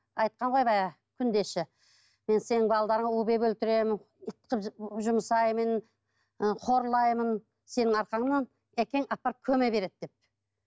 айтқан ғой баяғы күндесі мен сенің балаларыңа у беріп өлтіремін ит қылып жұмсаймын ы қорлаймын сенің арқаңнан әкең апарып көме береді деп